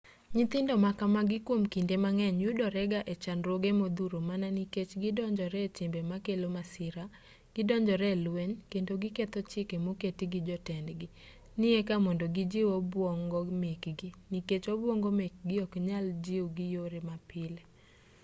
nyithindo ma kamagi kwom kinde mang'eny yudorega e chandruoge modhuro mana nikech gidonjore e timbe makelo masira gidonjore e lweny kendo giketho chike moketi gi jotendgi ni eka mondo gijiw obwongo mekgi nikech obwongo mekgi oknyal jiw gi yore mapile